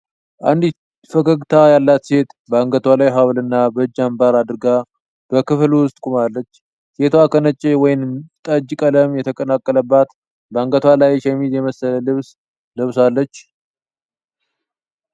አንዲት ፈገግታ ያላት ሴት በአንገቷ ላይ ሐብልና በእጅ አንባር አድርጋ በክፍል ውስጥ ቆማለች። ሴቷ ከነጭና ወይን ጠጅ ቀለም የተቀላቀለባት፣ በአንገቷ ላይ ሸሚዝ የመሰለ ልብስ ለብሳለች።